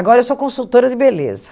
Agora eu sou consultora de beleza.